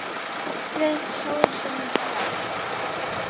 Hellið sósunni í skál.